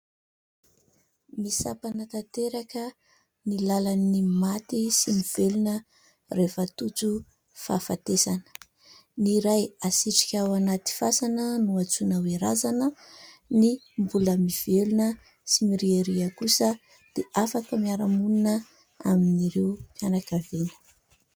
Misampana tanteraka ny lalan'ny maty sy ny velona rehefa tojo fahafatesana. Ny iray hasitrika ao anaty fasana no antsoina hoe razana ; ny mbola mivelona sy miriaria kosa dia afaka miara-monina amin'ireo fianakaviana.